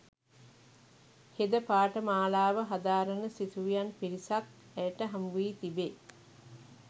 හෙද පාඨමාලාව හදාරන සිසුවියන් පිරිසක් ඇයට හමුවී තිබේ